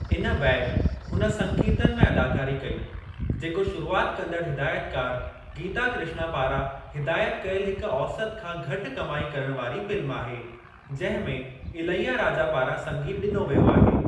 इन बैदि हुन संकीर्तन में अदाकारी कई, जेको शुरुआति कंदड़ु हिदायतिकारु गीता कृष्णा पारां हिदायति कयलु हिक औसति खां घटि कमाई करणु वारी फ़िल्म आहे जिंहिं में इलैयाराजा पारां संगीतु डि॒नो वियो आहे।